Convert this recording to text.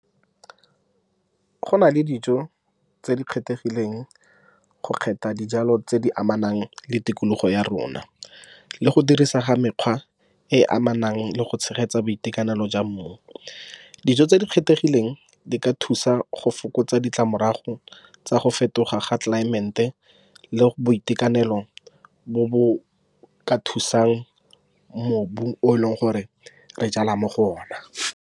Go na le dijo tse di kgethegileng go kgetha dijalo tse di amanang le tikologo ya rona, le go dirisa ga mekgwa e e amanang le go tshegetsa boitekanelo jwa mmu. Dijo tse di kgethegileng di ka thusa go fokotsa ditlamorago tsa go fetoga ga tlelaemete le boitekanelo bo bo ka thusang mobu o e leng gore re jala mo go ona.